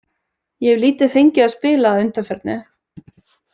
Ég hef lítið fengið að spila að undanförnu.